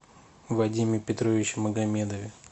вадиме петровиче магомедове